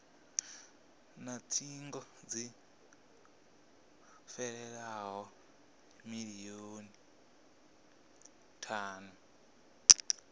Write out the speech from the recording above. na thingo dzi hovhelelaho milioni thanu